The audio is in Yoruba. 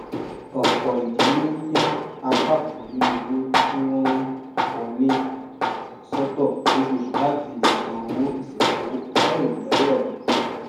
ọpọ ìdílé ń yà apá kan nínú owó tí wọn ń wọlé sọtọ lóṣooṣù láti lè san owó ìsìnkú àìròtẹlẹ